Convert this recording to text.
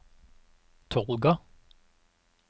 Tolga